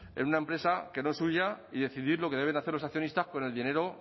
en una empresa que no es suya y decidir lo que deben hacer los accionistas con el dinero